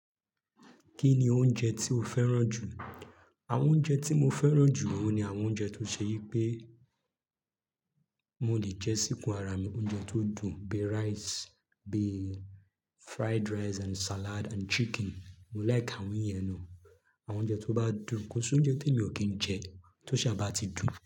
Kí ni oúnjẹ tí o fẹ́ràn jù? Àwọn oúnjẹ tí mo fẹ́ràn jù oun ni àwọn oúnjẹ tó ṣe yí pé mo lè jẹ síkun ara mi. Oúnjẹ tó dùn bíi rice, bíi fried rice and salad and chicken. Mo like àwọn iyẹn náà. Àwọn oúnjẹ tó bá dùn. Kò sí oúnjẹ tèmi ò kí ń jẹ, tó ṣa bá ti dùn.